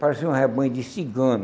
Parecia um rebanho de cigano.